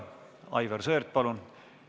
Aivar Sõerd, palun!